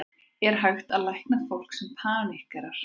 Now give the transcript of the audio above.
Er hægt að lækna fólk sem paníkerar?